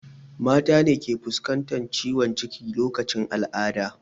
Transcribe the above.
Mata ne suke fuskantar ciwon ciki lokacin al'ada